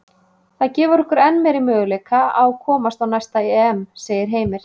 Það gefur okkur enn meiri möguleika á að komast á næsta EM, segir Heimir.